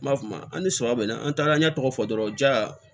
N b'a f'o ma an ni suman bɛ na an tagaɲɛ tɔgɔ fɔ dɔrɔn ja